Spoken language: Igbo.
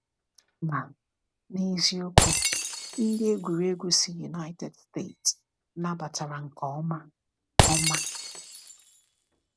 Ma, n’eziokwu, ndị egwuregwu si United States nabatara nke ọma. ọma.